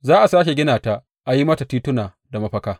Za a sāke gina ta a yi mata tituna da mafaka.